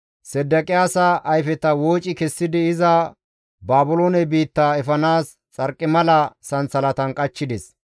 Sedeqiyaasa ayfeta wooci kessidi iza Baabiloone biitta efanaas xarqimala sansalatan qachchides.